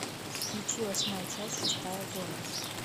включи восьмая часть шестая зона